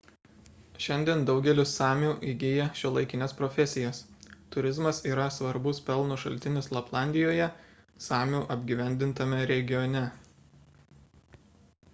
šiandien daugelis samių įgija šiuolaikines profesijas turizmas yra svarbus pelno šaltinis laplandijoje samių apgyvendintame regione